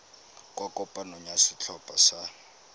kwa kopanong ya setlhopha sa